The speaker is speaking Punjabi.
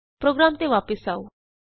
ਪ੍ਰੋਗਰਾਮ ਤੇ ਵਾਪਸ ਆਉ